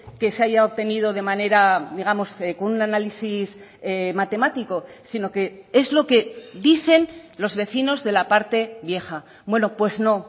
que se haya obtenido de manera digamos con un análisis matemático sino que es lo que dicen los vecinos de la parte vieja bueno pues no